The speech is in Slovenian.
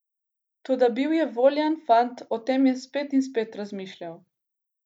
Toda bil je voljan fant, o tem je spet in spet razmišljal.